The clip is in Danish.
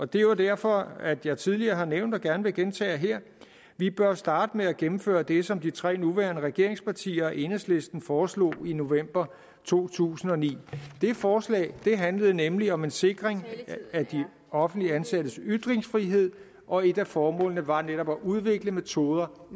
det er jo derfor at jeg tidligere har nævnt og gerne vil gentage her at vi bør starte med at gennemføre det som de tre nuværende regeringspartier og enhedslisten foreslog i november to tusind og ni det forslag handlede nemlig om en sikring af de offentligt ansattes ytringsfrihed og et af formålene var netop at udvikle metoder